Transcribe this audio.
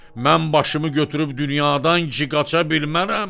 Mən başımı götürüb dünyadan ki qaça bilmərəm?